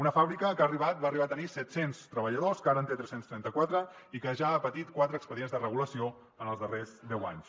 una fàbrica que ha arribat va arribar a tenir set cents treballadors que ara en té tres cents i trenta quatre i que ja ha patit quatre expedients de regulació en els darrers deu anys